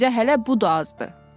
Sizə hələ bu da azdır.